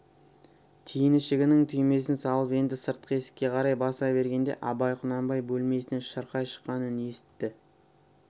тиін ішігінің түймесін салып енді сыртқы есікке қарай баса бергенде абай құнанбай бөлмесінен шырқай шыққан үн есітті